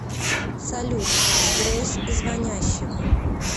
салют сбрось звонящего